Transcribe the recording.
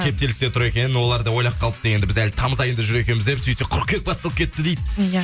кептелісте тұр екен олар да ойлап қалыпты енді біз әлі тамыз айында жүр екенбіз деп сөйтсек қырқүйек басталып кетті дейді иә